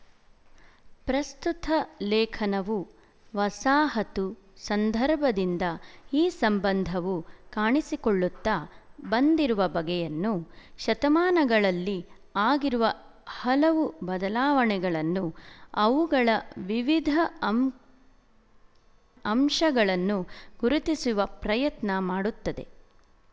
ಪ್ರಸ್ತುತ ಲೇಖನವು ವಸಾಹತು ಸಂದರ್ಭದಿಂದ ಈ ಸಂಬಂಧವು ಕಾಣಿಸಿಕೊಳ್ಳುತ್ತಾ ಬಂದಿರುವ ಬಗೆಯನ್ನು ಶತಮಾನಗಳಲ್ಲಿ ಆಗಿರುವ ಹಲವು ಬದಲಾವಣೆಗಳನ್ನು ಅವುಗಳ ವಿವಿಧ ಅಂ ಅಂಶಗಳನ್ನು ಗುರುತಿಸುವ ಪ್ರಯತ್ನ ಮಾಡುತ್ತದೆ